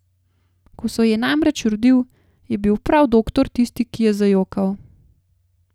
Ko se je namreč rodil, je bil prav doktor tisti, ki je zajokal.